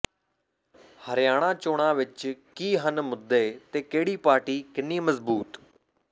ਹਰਿਆਣਾ ਚੋਣਾਂ ਵਿੱਚ ਕੀ ਹਨ ਮੁੱਦੇ ਤੇ ਕਿਹੜੀ ਪਾਰਟੀ ਕਿੰਨੀ ਮਜਬੂਤ